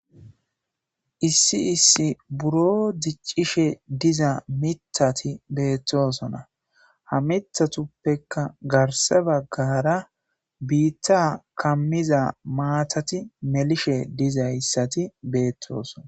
issi issi buro diccishe diza mithati beettosona ha mithatuppeka garse baggara biitta kammiza maatati melishe dizayssati beettoosona